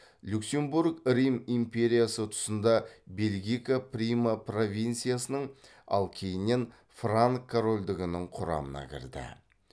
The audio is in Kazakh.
люксембург рим империясы тұсында бельгика прима провинциясының ал кейіннен франк корольдігінің құрамына кірді